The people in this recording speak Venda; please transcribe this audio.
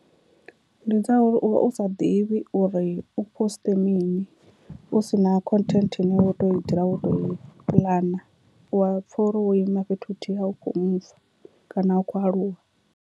Ndi dza uri uvha u sa ḓivhi uri u poste mini u si na content ine wo to dzula wo to i puḽana, u wa pfha uri wo ima fhethu huthihi a u khou muva kana a u khou aluwa.